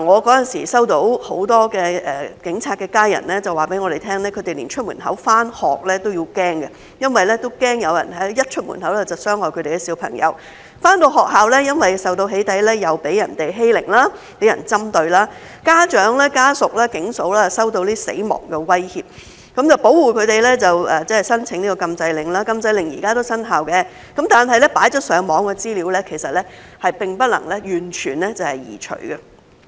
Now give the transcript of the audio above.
那時候，很多警察的家人告訴我們，他們連出門口上學都驚，因為驚一出門口就有人傷害他們的小朋友；小朋友回到學校，因為受到"起底"，又被人欺凌、針對；家長、家屬、"警嫂"收到死亡威脅，保護他們就要申請禁制令，雖然禁制令現時也生效，但已放上網的資料並沒有完全移除。